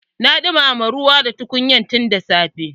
Na dumama ruwa da tukunyar tun da safe.